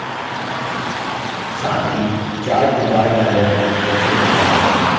साथ ही chart wizard dialog box प्रदर्शित होता है